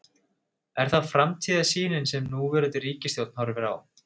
Er það framtíðarsýnin sem núverandi ríkisstjórn horfir á?